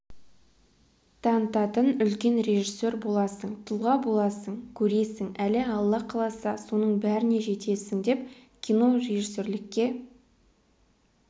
танытатын үлкен режиссер боласың тұлға боласың көресің әлі алла қаласа соның бәріне жетесің деп кинорежиссерлікке